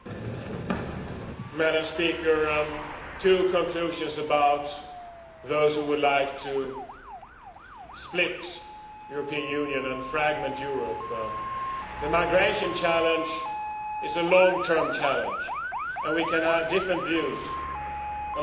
Madam President, two conclusions about those who would like to split the European Union and fragment Europe. The migration challenge is a long term challenge, and we can have different views on how to deal with it.